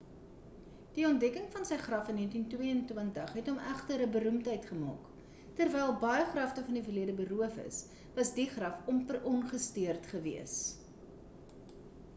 die ontdekking van sy graf in 1922 het hom egter 'n beroemdheid gemaak terwyl baie grafte van die verlede beroof is was die graf amper ongestoord gewees